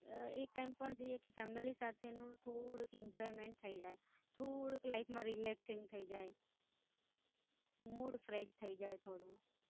એ time Life પણ જોઈએ કે Family સાથેનું થોડું Enjoyment થઈ જાય થોડુંક Life માં Relaxing થઇ જાય, મૂળ Fresh થઈ જાય.